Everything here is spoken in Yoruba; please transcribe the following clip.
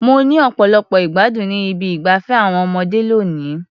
Mo ní ọ̀pọ̀lọpọ̀ ìgbádùn ní ibi ìgbafé àwọn ọmọdé lónìí.